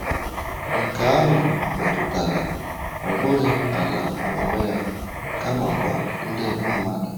Nke ahụ metụtara, ọ bụghị ala n’onwe ya, kamakwa ndị mmadụ.